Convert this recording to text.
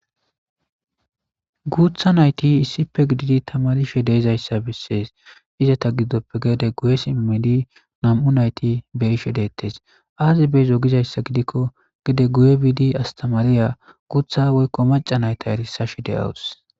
guutha nayti issipe gididi tamarishe deezayssa bessees ize ta giddoppe geede guye simmidi nam7u nayti beshe dettes aaze beezo gizayssa gidikko gide guye biidi astamariya guutha woykko maca nayta erisashe de'awus